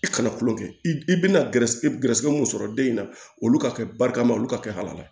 I kana kulon kɛ i bɛna gɛrɛsɛgɛ gɛrɛsɛgɛ mun sɔrɔ den in na olu ka kɛ barikama olu ka kɛ hala